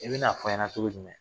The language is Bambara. I bɛn'a fɔ n ɲɛna cogo jumɛn